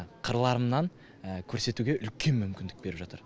қырларымнан көрсетуге үлкен мүмкіндік беріп жатыр